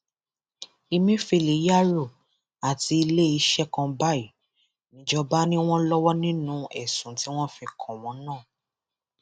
ẹmẹfẹlẹ yaro àti iléeṣẹ kan báyìí níjọba ni wọn lọwọ nínú ẹsùn tí wọn fi kàn wọn náà